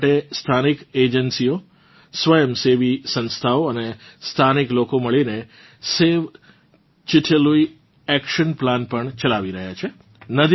તેનાં માટે સ્થાનિક એજન્સીઓ સ્વયંસેવી સંસ્થાઓ અને સ્થાનીક લોકો મળીને સવે ચિટે લુઈ એક્શન પ્લાન પણ ચલાવી રહ્યાં છે